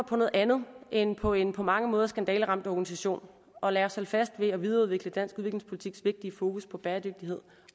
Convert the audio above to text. på noget andet end på en på mange måder skandaleramt organisation og lad os holde fast ved at videreudvikle dansk udviklingspolitiks vigtige fokus på bæredygtighed